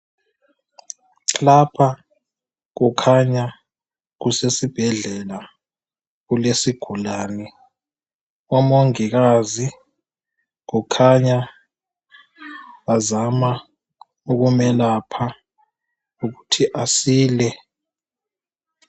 Lapha kukhanya kusesibhedlela kulesigulane omongikazi kukhanya bazama ukumelapha ukuthi asile.